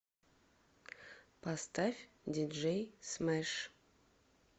поставь диджей смэш